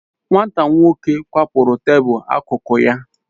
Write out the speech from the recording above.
Nwata nwoko ahu kwapuru tabul akụkụ ya